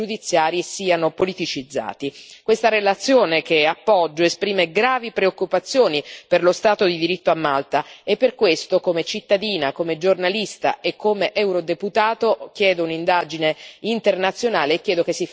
Questa relazione, che appoggio, esprime gravi preoccupazioni per lo Stato di diritto a Malta e per questo, come cittadina, come giornalista e come eurodeputato, chiedo un'indagine internazionale e chiedo che si faccia verità e giustizia su questo assassinio.